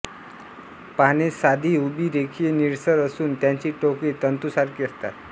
पाने साधी उभी रेखीय निळसर असून त्यांची टोके तंतूसारखी असतात